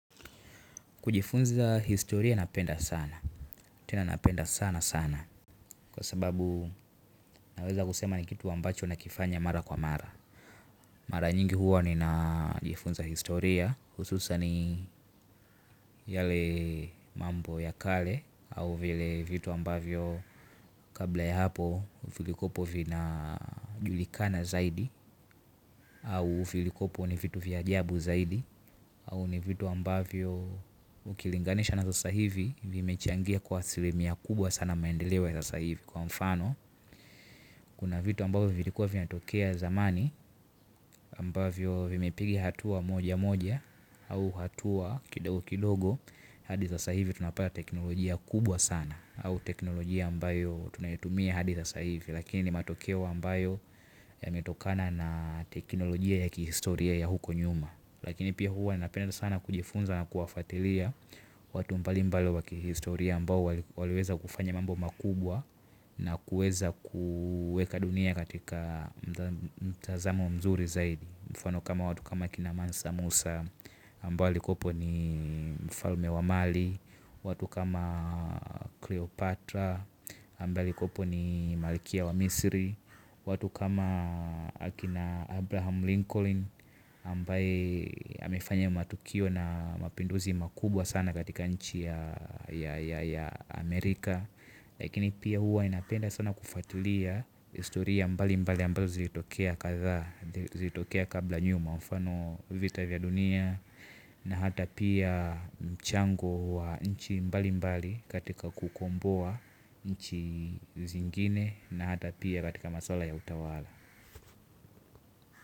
Kujifunza historia napenda sana, tena napenda sana sana kwa sababu naweza kusema ni kitu ambacho nakifanya mara kwa mara. Mara nyingi huwa ni na jifunza historia kuhusu usani yale mambo ya kale au vile vitu ambavyo kabla ya hapo vilikopo vina julikana zaidi au vilikopo ni vitu vya ajabu zaidi au ni vitu ambavyo ukilinganisha na sasa hivi vime changia kwa asilimia kubwa sana maendeleo sasa hivi kwa mfano kuna vitu ambavyo vilikua vinatokea zamani ambavyo vime piga hatua moja moja au hatua kidogo kidogo hadi sasa hivi tunapata teknolojia kubwa sana au teknolojia ambayo tunayo tumia hadi sasa hivi lakini matokeo ambayo yametokana na teknolojia ya kihistoria ya huku nyuma. Lakini pia huwa napenda sana kujifunza na kuwafuatilia watu mbali mbali wakihistoria ambao waliweza kufanya mambo makubwa na kueza kueka dunia katika mtazamo mzuri zaidi. Mfano kama watu kama kina Mansa Musa ambao wali kopo ni mfalme wa Mali watu kama Cleopatra ambao wali kopo ni malikia wa Misiri watu kama akina Abraham Lincoln Ambaye amefanya matukio na mapinduzi makubwa sana katika nchi ya Amerika. Lakini pia huwa ninapenda sana kufuatilia historia mbali mbali ambazo zilitokea kadhaa zilitokea kabla nyuma mfano vita vya dunia. Na hata pia mchango wa nchi mbali mbali katika kukumbua nchi zingine. Na hata pia katika maswala ya utawala.